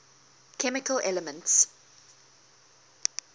chemical elements